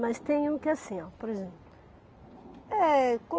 Mas tem um que é assim, por exemplo. É